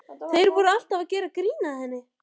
Þeir voru alltaf að gera grín að henni.